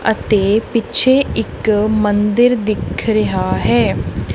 ਅਤੇ ਪਿੱਛੇ ਇੱਕ ਮੰਦਿਰ ਦਿਖ ਰਿਹਾ ਹੈ।